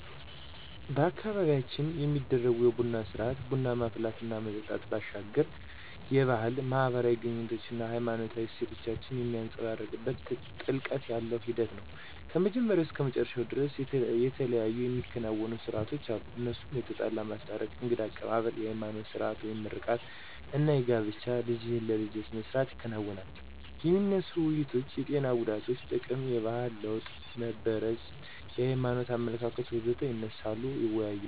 በአካባቢያችን የሚደረጉ የቡና ስርአት (ቡና ማፍላት እና መጠጣት) ባሻገር የባህል፣ ማህበራዊ ግኑኝነት አና ሃይማኖታዊ እሴቶችን የሚንፀባረቅበት ጥልቀት ያለው ሂደት ነው። ከመጀመሪያው እስከ መጨረሻው ደርስ የተለያዩ የሚከናወኑ ሰርአቶች አሉ እነሱም የተጣላ ማስታረቅ፣ የእንግዳ አቀባብል፣ የሀይማኖት ስርአት (ምርቃት) አና የጋብቻ ልጅህን ለልጀ ስርአት ይከናወናል። የሚነሱ ውይይቶች የጤና ጉዳትና ጥቅም፣ የባህል ለወጥ (መበረዝ) የሀይማኖት አመለካከት.... ወዘተ ይነሳሉ ይወያያሉ።